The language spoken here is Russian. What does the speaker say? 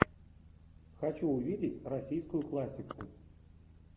хочу увидеть российскую классику